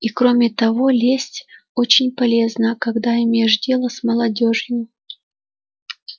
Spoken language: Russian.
и кроме того лесть очень полезна когда имеешь дело с молодёжью